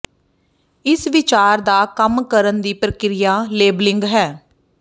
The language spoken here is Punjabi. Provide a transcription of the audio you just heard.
ਇਸ ਵਿਚਾਰ ਦਾ ਕੰਮ ਕਰਨ ਦੀ ਪ੍ਰਕਿਰਿਆ ਲੇਬਲਿੰਗ ਹੈ